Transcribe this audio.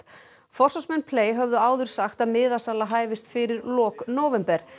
forsvarsmenn höfðu áður sagt að miðasala hæfist fyrir lok nóvember